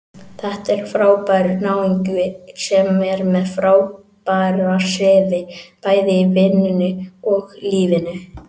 Þetta er frábær náungi sem er með frábæra siði, bæði í vinnunni og lífinu.